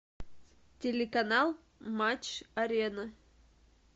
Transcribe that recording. телеканал матч арена